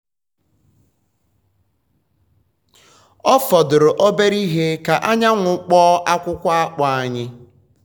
ọ fọdụrụ obere ihe ka anyanwụ kpọọ akwụkwọ akpu anyị.